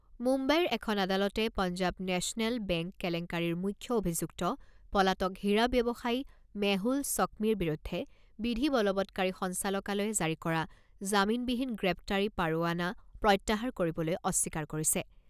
মুম্বাইৰ এখন আদালতে পঞ্জাৱ নেচনেল বেংক কেলেংকাৰীৰ মুখ্য অভিযুক্ত পলাতক হীৰা ব্যৱসায়ী মেহুল চ'ক্মিৰ বিৰুদ্ধে বিধি বলবৎকাৰী সঞ্চালকালয়ে জাৰি কৰা জামিনবিহীন গ্ৰেপ্তাৰী পৰোৱানা প্ৰত্যাহাৰ কৰিবলৈ অস্বীকাৰ কৰিছে।